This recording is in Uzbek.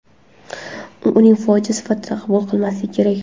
Uni fojia sifatida qabul qilmaslik kerak.